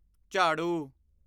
ਝਾੜੂ